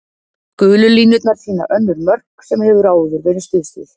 Gulu línurnar sýna önnur mörk sem hefur áður verið stuðst við.